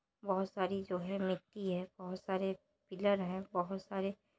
बहुत सारी जो है मिट्टी है बहुत सारे पिलर है बहुत सारे--